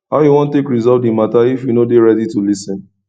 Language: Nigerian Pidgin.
how you wan take resolve dis mata if you no dey ready to lis ten